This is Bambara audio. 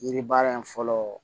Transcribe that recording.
Yiri baara in fɔlɔ